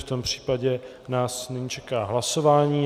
V tom případě nás nyní čeká hlasování.